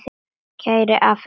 Kæri afi minn og nafni.